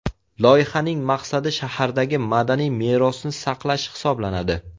Loyihaning maqsadi shahardagi madaniy merosni saqlash hisoblanadi.